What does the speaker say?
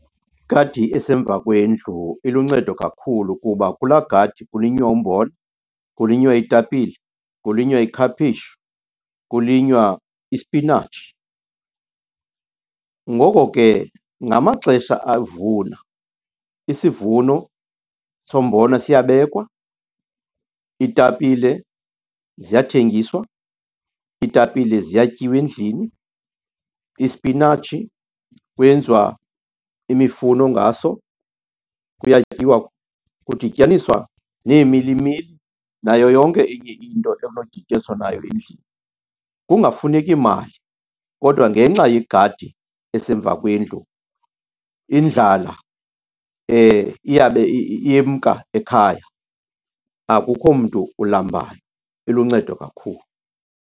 Gadi esemva kwendlu iluncedo kakhulu kuba kulaa gadi kulinywa umbona, kulinywa iitapile, kulinywa ikhapheshu kulinywa ispinatshi. Ngoko ke ngamaxesha avuna isivuno sombona siyabekwa, iitapile ziyathengiswa, iitapile ziyatyiwa endlini, ispinatshi kwenziwa imifuno ngaso. Kuyatyiwa, kudityaniswa neemilimili nayo yonke enye into enodityaniswa nayo endlini, kungafuneka mali. Kodwa ngenxa yegadi esemva kwendlu, indlala iyabe iyemka ekhaya, akukho mntu ulambayo. Iluncedo kakhulu.